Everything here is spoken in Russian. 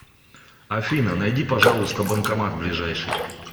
афина найди пожалуйста банкомат ближайший